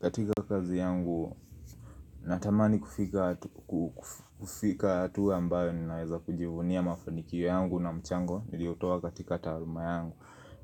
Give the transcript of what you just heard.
Katika kazi yangu, natamani kufika hatua ambayo ninaweza kujivunia mafanikio yangu na mchango Niliotoa katika taaluma yangu